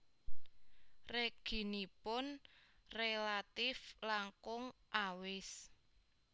Reginipun rélatif langkung awis